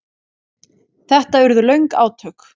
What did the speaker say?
Þetta urðu löng átök.